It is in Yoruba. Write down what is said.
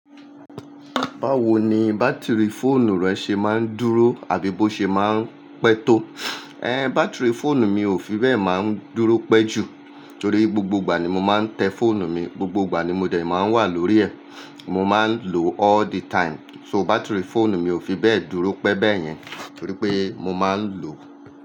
Báwo ni bátìrì fóònù rẹ ṣe máa ń dúró àbí bó ṣe máa ń pẹ́ tó? Ẹ́n bátìrì fóònù mi ò fi bẹ́ẹ̀ má ń dúró pẹ́ jù torí gbogbo ìgbà ni mo máa ń tẹ fóònù mi, gbogbo ìgbà ni mo dẹ̀ máa ń wà lórí ẹ̀. Mo máa ń lò all the time. So bátìrì fóònù mi ò fi bẹ́ẹ̀ dúró pẹ́ bẹ́yẹn torí pé mo máa ń lò.